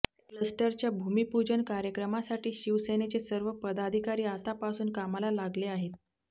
क्लस्टरच्या भूमिपूजन कार्यक्रमासाठी शिवसेनेचे सर्व पदाधिकारी आतापासून कामाला लागले आहेत